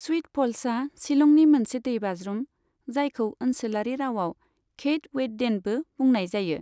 Sweet फ'ल्सआ शिलंनि मोनसे दैबाज्रुम, जायखौ ओनसोलारि रावआव क्षैद वेइटडेनबो बुंनाय जायो।